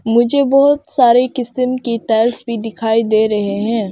मुझे बहुत सारे किसिम की टाइल्स भी दिखाई दे रहे हैं।